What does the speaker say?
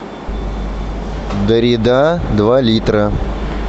дарида два литра